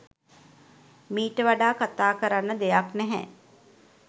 මීට වඩා කතා කරන්න දෙයක් නැහැ